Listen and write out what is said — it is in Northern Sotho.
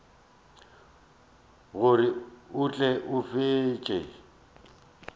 gore a tle a fetše